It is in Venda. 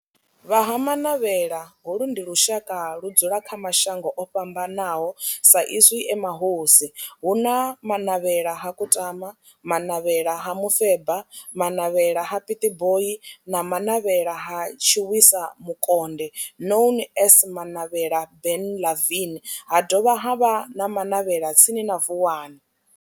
Vha Ha-Manavhela, holu ndi lushaka ludzula kha mashango ofhambanaho sa izwi e mahosi hu na Manavhela ha Kutama, Manavhela ha Mufeba, Manavhela ha Pietboi na Manavhela ha Tshiwisa Mukonde known as Manavhela Benlavin ha dovha havha na Manavhela tsini na Vuwani.